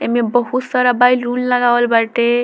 एमे बहुत सारा बैलून लगावल बाटे।